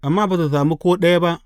Amma ba su sami ko ɗaya ba.